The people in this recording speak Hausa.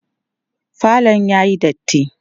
falon yayi datti